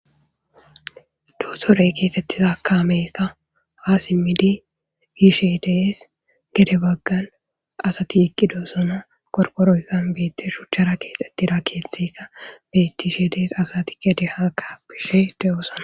doosorey keexettiza kaamekka ha simmidi biishe dees gede baggan asati iqqidoo sono korkoroykkan beette shuchchara keexettira keeththeka bettishe dees asati gede haaka bishe de7oosona